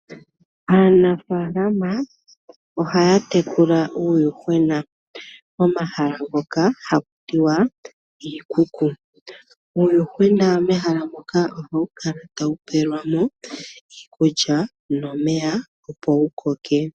Aanafaalama ohaya tekula uuyuhwena momahala ngoka haga ithanwa iikuku. Uuyuhwena mehala muka ohawu kala pelwa mo iikulya nomeya opo wu koke.